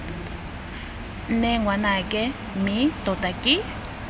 nne ngwanake mme tota ke